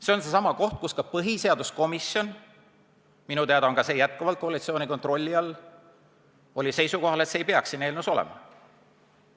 See on seesama koht, milles ka põhiseaduskomisjon – minu teada on see endiselt koalitsiooni kontrolli all – oli seisukohal, et see ei peaks siin eelnõus olema.